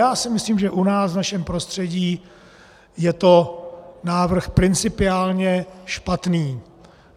Já si myslím, že u nás, v našem prostředí, je to návrh principiálně špatný.